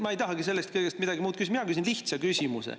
Ma ei tahagi selle kõige kohta midagi küsida, mina küsin lihtsa küsimuse.